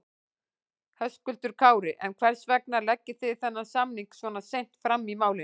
Höskuldur Kári: En hvers vegna leggið þið þennan samning svona seint fram í málinu?